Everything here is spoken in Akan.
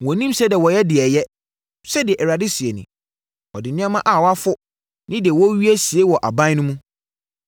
“Wɔnnim sɛdeɛ wɔyɛ deɛ ɛyɛ,” sɛdeɛ Awurade seɛ nie. Wɔde nneɛma a wɔafo ne deɛ wɔawia sie wɔ wɔn aban mu.